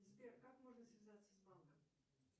сбер как можно связаться с банком